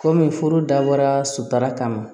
Kɔmi furu dabɔra sutura kama